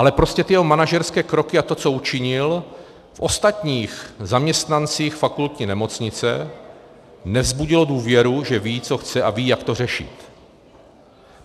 Ale prostě ty jeho manažerské kroky a to, co učinil, v ostatních zaměstnancích fakultní nemocnice nevzbudilo důvěru, že ví, co chce, a ví, jak to řešit.